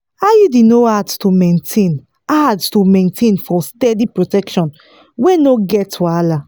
iud no hard to maintain hard to maintain for steady protection wey no get wahala.